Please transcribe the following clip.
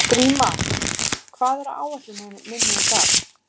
Gríma, hvað er á áætluninni minni í dag?